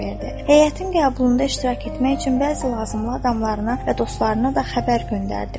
Heyətin qəbulunda iştirak etmək üçün bəzi lazımlı adamlarına və dostlarına da xəbər göndərdi.